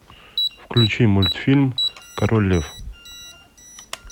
включи мультфильм король лев